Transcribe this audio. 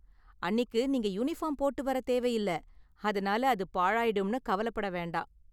அன்னிக்கு நீங்க யூனிபார்ம் போட்டு வர தேவையில்ல, அதனால அது பாழாயிடும்னு கவலைப்பட வேண்டாம்.